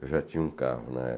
Eu já tinha um carro na